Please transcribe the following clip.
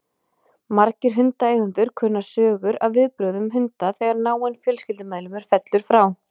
Margir hundaeigendur kunna sögur af viðbrögðum hunda þegar náinn fjölskyldumeðlimur fellur frá.